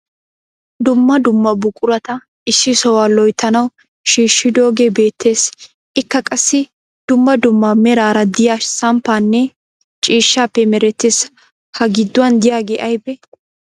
Dumma dumma buqurata issi sohuwa loyitanawu shiishshidoogee beettes. Ikka qassi dumma dumma meraara diya samppaappenne ciishshaappe merettis. Ha gidduwan diyagee ayibee?